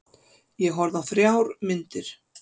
Ég horfði á þrjár myndir.